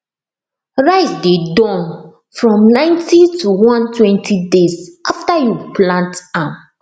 rice dey Accepted from ninety to onetwenty days after you plant am